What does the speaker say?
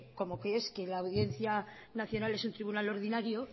como que es que la audiencia nacional es un tribunal ordinario